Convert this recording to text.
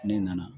Ne nana